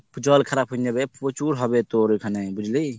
জল খারাপ হৈয়েই যাবে প্রচুর হইবে তোর ওইখানে বুঝলি।